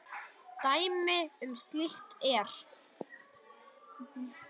Dæmi um slíkt er